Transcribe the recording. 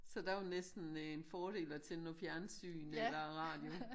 Så der var det næsten en fordel at tænde noget fjernsyn eller radio